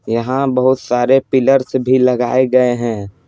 यहाँ बहुत सारे पिलर्स भी लगाए गए हैं।